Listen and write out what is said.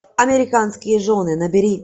американские жены набери